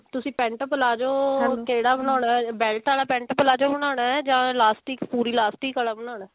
ਤੁਸੀਂ pent palazzo ਕਿਹੜਾ ਬਣਾਉਣਾ belt ਆਲਾ pent palazzo ਬਣਾਉਣਾ ਜਾ elastic ਪੂਰੀ elastic ਆਲਾ ਬਣਾਉਣਾ